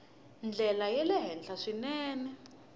ndlela ya le henhla swinene